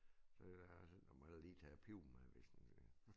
Så jeg var sådan jeg må heller lige tage æ pibe med hvis nu